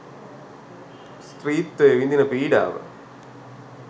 ස්ත්‍රීත්වය විඳින පීඩාව